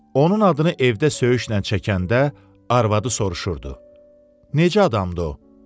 Onun adını evdə söyüşlə çəkəndə arvadı soruşurdu: "Necə adamdır o?"